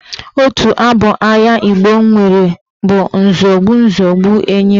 Otu abụ agha Igbo nwere bụ "Nzọgbu nzọgbu enyi mba"